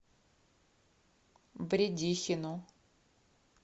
бредихину